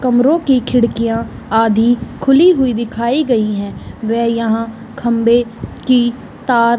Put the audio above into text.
कमरों की खिड़कियाँ आधी खुली हुई दिखाई गई हैं व यहाँ खम्बे की तार --